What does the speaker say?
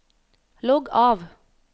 logg av